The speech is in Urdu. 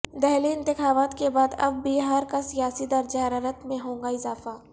دہلی انتخابات کے بعد اب بہارکا سیاسی درجہ حرارت میں ہوگا اضافہ